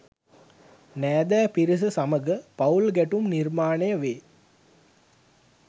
නෑදෑ පිරිස සමඟ පවුල් ගැටුම් නිර්මාණය වේ.